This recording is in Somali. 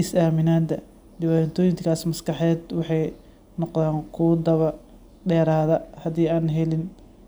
is-aaminaadda. Dhibaatooyinkaas maskaxeed waxay noqdaan kuwo daba dheeraada haddii aan helin